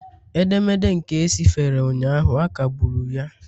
Edemede nke e sifere ụnyaahụ, a kagburu ya